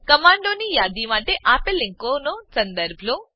કમાંડોની યાદી માટે આપેલ લીંકનો સંદર્ભ લો